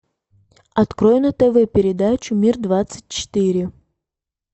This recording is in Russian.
открой на тв передачу мир двадцать четыре